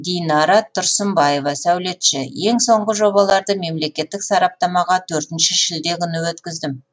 динара тұрсынбаева сәулетші ең соңғы жобаларды мемлекеттік сараптамаға төртінші шілде күні өткіздім